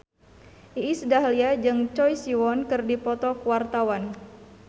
Iis Dahlia jeung Choi Siwon keur dipoto ku wartawan